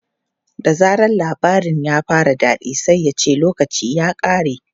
Da zaran labarin ya fara daɗi sai ya ce 'lokaci ya ƙare!'